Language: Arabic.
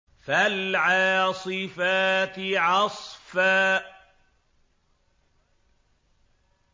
فَالْعَاصِفَاتِ عَصْفًا